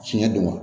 Fiɲɛ don wa